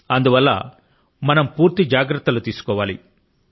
అందువల్ల మనం పూర్తి జాగ్రత్తల ను తీసుకోవాలి